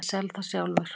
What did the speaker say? Ég sel það sjálfur.